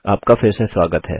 आपका फिर से स्वागत है